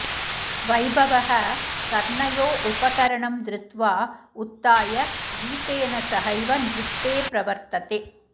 वैभवः कर्णयो उपकरणं धृत्वा उत्थाय गीतेन सहैव नृत्ते प्रवर्तते